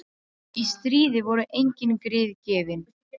Og þær sugu sig fastar í nára og undir kverk.